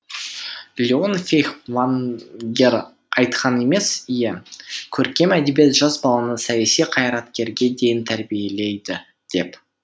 лион фейхтвангер айтқан емес ие көркем әдебиет жас баланы саяси қайраткерге дейін тәрбиелейді деп